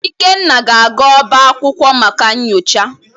Ikenna ga-aga ọbá akwukwo maka nyocha.